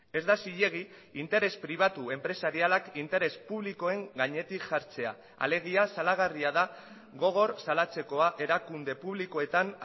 ez da zilegi interes pribatu enpresarialak interes publikoen gainetik jartzea alegia salagarria da gogor salatzekoa erakunde publikoetan